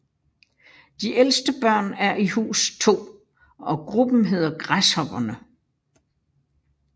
De ældste børn er i Hus 2 og gruppen hedder Græshopperne